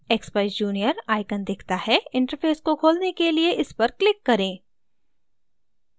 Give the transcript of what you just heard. expeyes junior icon दिखता है interface को खोलने के लिए इस पर click करें